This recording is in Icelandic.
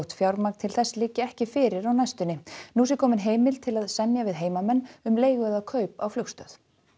fjármagn til þess liggi ekki fyrir á næstunni nú sé komin heimild til að semja við heimamenn um leigu eða kaup á flugstöð